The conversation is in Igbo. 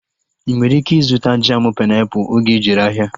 Ị nwere ike ịzụta jamu painiapulu oge ijere ahịa